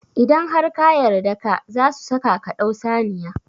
Idan har ka yarda ka, zasu saka ka dau saniya